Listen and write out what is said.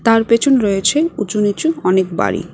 তার পেছন রয়েছে উঁচু নিচু অনেক বাড়ি।